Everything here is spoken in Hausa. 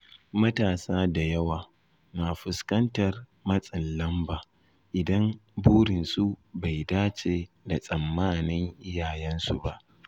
Matasa da yawa na fuskantar matsin lamba idan burinsu bai dace da tsammanin iyayensu ba.